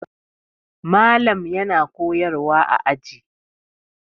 Malam yana koyarwa a aji.